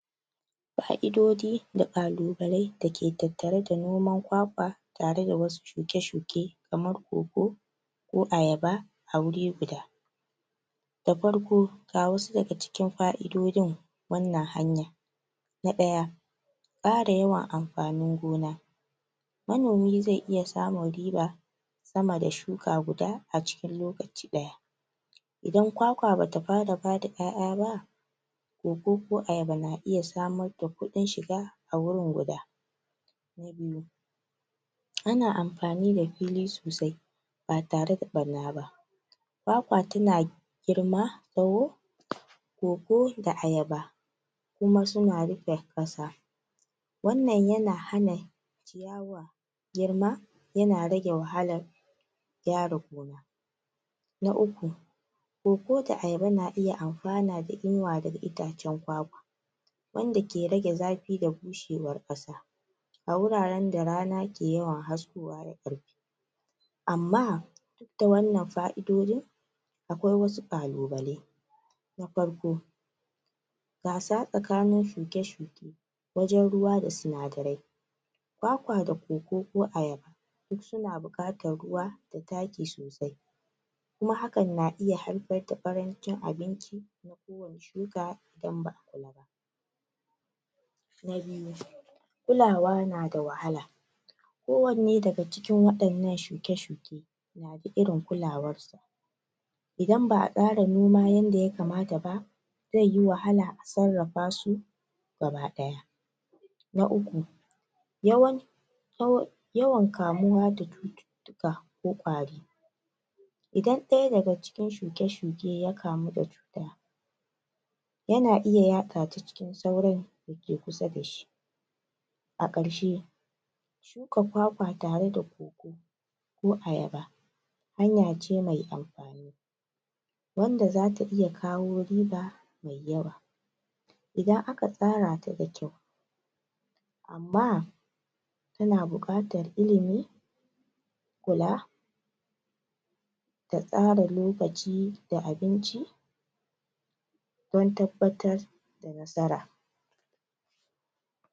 Fa'idodi da kalubai da ke tattare da noman kwakwa tare da wasu shuke-shuke kamar cocoa ko ayaba a wuri guda da farko ga wasu daga cikin fa'idodin wannan hanyar na ɗaya ƙara yawan amfanin gona manomi zai iya samun riba sama da shuka guda a cikin lokaci ɗaya idan kwakwa bata fara bada ƴaƴa ba coco ko ayaba na iya samar da kuɗin shiga a wurin guda na biyu ana amfani da fili sosai ba tare da ɓarna ba kwakwa tana girma tsawo um coco da ayaba kuma suna rike kasa wannan yana hana ciyawa girma yana rage wahalar gyara gona na uku coco da ayaba na iya amfana da inuwa daga itacen kwakwa wanda ke rage zafi da bushewar kasa a wurarenn da rana ke yawan haskowa da ƙarfi amma duk da wannan fa'idodin akwai wasu kalubalai na farko gasa tsakanin shuke-shuke wajen ruwa da sinadarai kwakwa da coco ko ayaba duk suna bukatar ruwa da taki sosai kuma hakan na iya haifar da karancin abinci na ko wane shuka idan ba'a kula ba na biyu kulawa nada wahala ko wanne daga cikin ɗannan shuke-shuke na da irin kulawarsa idan ba'a tsara noma yadda ya kamta ba zaiyi wahala a sarrafa su gaba ɗaya na uku yawan yaw... yawan kamuwa da cututtuka ko kwari idan ɗaya daga cikin shuke-shuke ya kamu da cuta yana iya yaɗa ta cikin sauran dake kusa dashi a karshe shuka kwakwa tare da coco ko ayaba hanya ce mai amfani wanda zata iya kawo riba mai yawa idan aka tsara ta da kyau amma tana bukatar ilimi kula da tsara lokaci da abinci don tabbatar da nasara